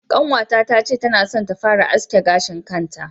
Ƙanwata ta ce tana son ta fara aske gashin kanta.